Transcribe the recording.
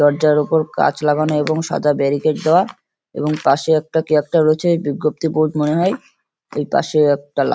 দরজার ওপর কাঁচ লাগানো এবং সাদা বেরিকেড দেওয়া এবং পাশে একটা কি একটা রয়েছে বিজ্ঞপ্তি বোর্ড মনে হয়। এই পাশে একটা লা--